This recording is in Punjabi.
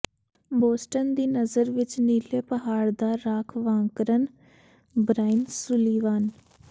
ਬੋਸਟਨ ਦੀ ਨਜ਼ਰ ਵਿੱਚ ਨੀਲੇ ਪਹਾੜ ਦਾ ਰਾਖਵਾਂਕਰਨ ਬ੍ਰਾਇਨ ਸੁਲੀਵਾਨ